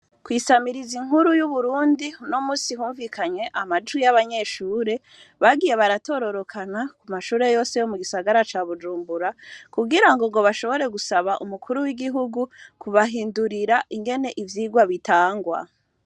Kwisamiriza inkuru y'uburundi no musi humvikanywe amajwi y'abanyeshure bagiye baratororokana ku mashure yose yo mu gisagara ca bujumbura kugira ngo ngo bashobore gusaba umukuru w'igihugu kubahindurira ingene ivyirwa bitangwa.